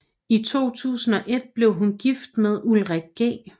I 2001 blev hun gift med Ulrik G